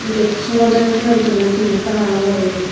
gettu somodegoi sinot dunne pink kalar guri.